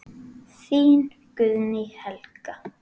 Þín Guðný Helga.